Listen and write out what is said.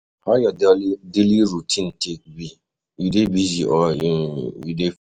How your daily routine take be? You dey busy or you dey free today?